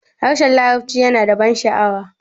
harshen larabci yana ban sha'awa